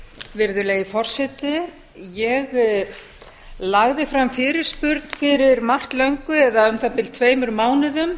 virðulegi forseti ég lagði fram fyrirspurn fyrir margt löngu eða um það bil tveimur mánuðum